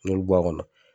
N'i y'olu bɔ a kɔnɔ